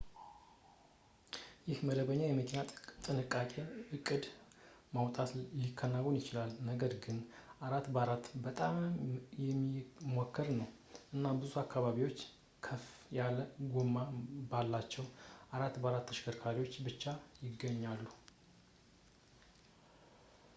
ይህ በመደበኛ መኪና በጥንቃቄ እቅድ ማውጣት ሊከናወን ይችላል ነገር ግን 4x4 በጣም የሚመከር ነው እና ብዙ አካባቢዎች በከፍ ያለ ጎማ ባላቸው 4x4 ተሽከርካሪዎች ብቻ ይገኛሉ